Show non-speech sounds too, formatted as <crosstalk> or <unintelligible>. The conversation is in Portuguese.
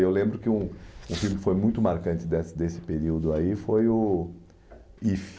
Eu lembro que um um filme que foi muito marcante dessa desse período aí foi o <unintelligible>